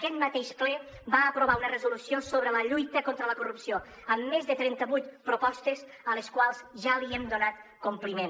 aquest mateix ple va aprovar una resolució sobre la lluita contra la corrupció amb més de trentavuit propostes a les quals ja hem donat compliment